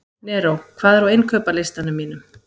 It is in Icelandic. Neró, hvað er á innkaupalistanum mínum?